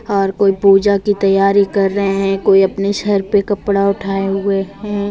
और कोई पूजा की तैयारी कर रहे हैं कोई अपने सर पे कपड़ा उठाए हुए हैं।